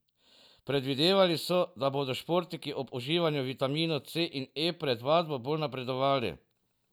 Predvidevali so, da bodo športniki ob uživanju vitaminov C in E pred vadbo bolj napredovali.